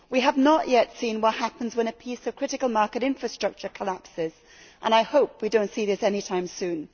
We have not yet seen what happens when a piece of critical market infrastructure collapses and I hope we do not see this anytime soon.